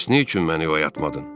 Bəs nə üçün məni oyatmadın?